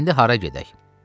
İndi hara gedək?